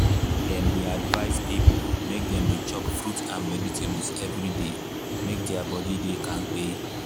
dem dey advice people make dem dey chop fruit and vegetables every day make their body dey kampe.